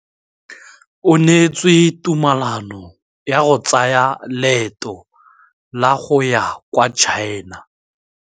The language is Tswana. O neetswe tumalanô ya go tsaya loetô la go ya kwa China.